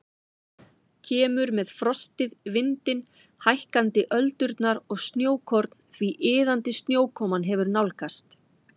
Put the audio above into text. Kemur með frostið, vindinn, hækkandi öldurnar og snjókorn því iðandi snjókoman hefur nálgast.